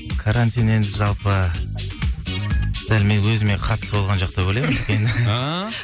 карантин енді жалпы дәл менің өзіме қатысы болған жоқ деп ойлаймын өйткені ааа